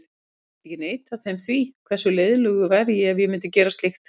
Ég get ekki neitað þeim því, hversu leiðinlegur væri ég ef ég myndi gera slíkt?